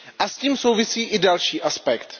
S tím souvisí i další aspekt.